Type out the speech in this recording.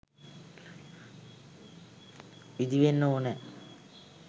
ඉදිවෙන්න ඕනෑ.